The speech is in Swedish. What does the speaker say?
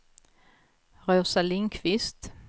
Rosa Lindkvist